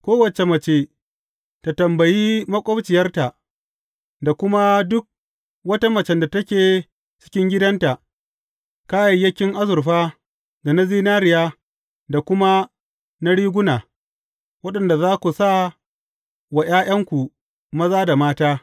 Kowace mace ta tambayi maƙwabciyarta, da kuma duk wata macen da take cikin gidanta, kayayyakin azurfa da na zinariya da kuma na riguna, waɗanda za ku sa wa ’ya’yanku maza da mata.